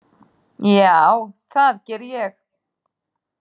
Já, það geri ég.